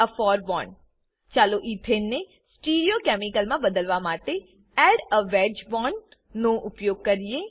add a for bond ચાલો ethane ને stereochemical મા બદલવા માટે add a wedge bond add a wedged bond નો ઉપયોગ કરીએ